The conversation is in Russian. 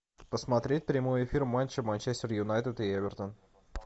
посмотреть прямой эфир матча манчестер юнайтед и эвертон